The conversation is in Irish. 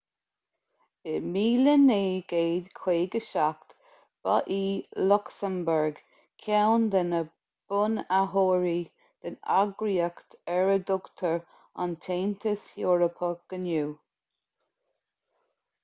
in 1957 ba í lucsamburg ceann de na bunaitheoirí den eagraíocht ar a dtugtar an taontas eorpach inniu